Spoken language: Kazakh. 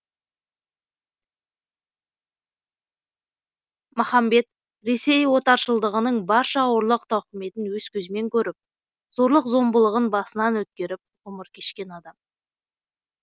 махамбет ресей отаршылдығының барша ауырлық тауқыметін өз көзімен көріп зорлық зомбылығын басынан өткеріп ғұмыр кешкен адам